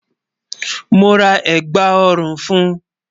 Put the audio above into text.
Mo ra ẹ̀gbá ọ̀rùn fún.